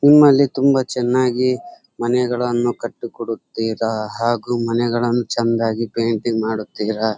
ನಿಮ್ಮಲ್ಲಿ ತುಂಬಾ ಚೆನ್ನಾಗಿ ಮನೆಗಳನ್ನು ಕಟ್ಟಿ ಕೊಡುತ್ತೀರಾ ಹಾಗು ಮನೆಗಳನ್ನು ಚೆಂದಾಗಿ ಪೇಂಟಿಂಗ್ ಮಾಡುತ್ತೀರಾ.